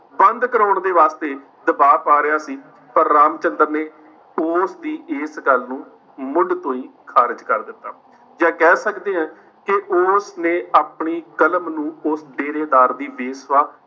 ਬੰਦ ਕਰਵਾਉਣ ਦੇ ਵਾਸਤੇ ਦਬਾਅ ਪਾ ਰਿਹਾ ਸੀ, ਪਰ ਰਾਮਚੰਦਰ ਨੇ ਉਸਦੀ ਇਸ ਗੱਲ ਨੂੰ ਮੁੱਢ ਤੋਂ ਹੀ ਖਾਰਿਜ਼ ਕਰ ਦਿੱਤਾ, ਜਾਂ ਕਹਿ ਸਕਦੇ ਹਾਂ ਕਿ ਉਸ ਨੇ ਆਪਣੀ ਕਲਮ ਨੂੰ ਉਸ ਡੇਰੇ ਦਾਰ ਬੇਸਵਾ